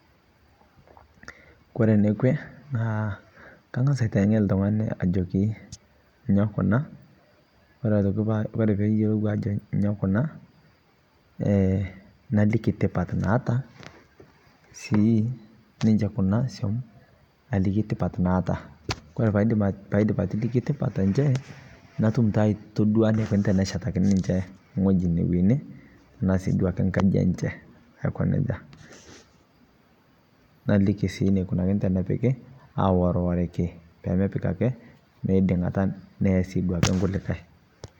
Kore nikwee naa kang'as ateng'en ltungani ajoo nyoo kuna. Ore pee eiyeloo ajoo nyoo kuna ee naliki ntipaat naata sii ninchee kuna oosom naliki ntipaat naata. Paaidim atiliki ntipaat enchee naidim taa aitodua naiko teneshetakini ninchee ng'oji newuene taasii nkaaji enchee aiko nejaa. Nailiki sii neukunakini tenepiki aororariki pee meepik ake meiding'ata neea sii duake nkulikai.